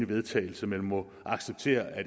vedtagelse men må acceptere at